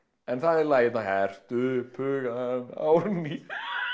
en það er lagið hérna hertu upp hugann Árný